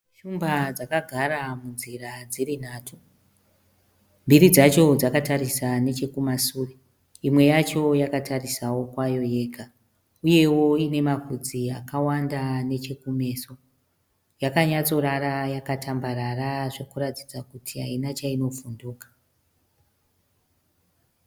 Shumba dzakagara munzira dziri nhatu. Mbiri dzacho dzakatarisa nechekumasure. Imwe yacho yakatarisawo kwayo yega, uyewo ine mavhudzi akawanda nechekumeso yakanyatsorara yakatambarara zvokuratidza kuti haina chainovhunduka.